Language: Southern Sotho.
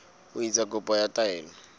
ho etsa kopo ya taelo